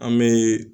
An bɛ